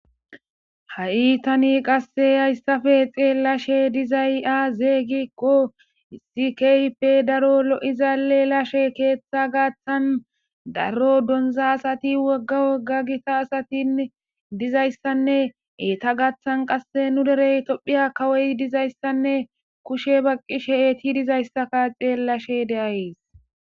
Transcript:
Ha7i tani qasse hayssafe xeellashe de7izay azee giikko issi kehippe daro lo7iza lelashe keeththa gaaththan daro donza asati wogga wogga gita asatin dizayssanne eeta gaaththan qasse nu derey tophiya kawoy dizayssanne kushe baqqishe eeti dizayssaka xeellashe de7ays.